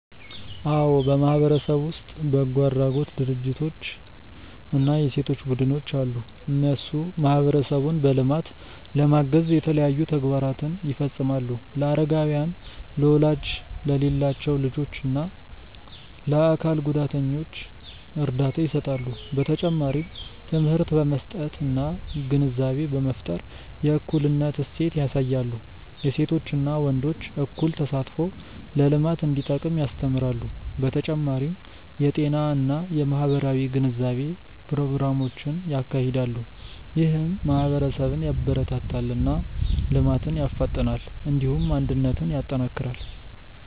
አዎ በማህበረሰብ ውስጥ በጎ አድራጎት ድርጅቶች እና የሴቶች ቡድኖች አሉ። እነሱ ማህበረሰቡን በልማት ለማገዝ የተለያዩ ተግባራትን ይፈጽማሉ። ለአረጋውያን፣ ለወላጅ የሌላቸው ልጆች እና ለአካል ጉዳተኞች እርዳታ ይሰጣሉ። በተጨማሪም ትምህርት በመስጠት እና ግንዛቤ በመፍጠር የእኩልነት እሴት ያሳያሉ። የሴቶችና ወንዶች እኩል ተሳትፎ ለልማት እንዲጠቅም ያስተምራሉ። በተጨማሪም የጤና እና የማህበራዊ ግንዛቤ ፕሮግራሞችን ያካሂዳሉ። ይህም ማህበረሰብን ያበረታታል እና ልማትን ያፋጥናል። እንዲሁም አንድነትን ያጠናክራል።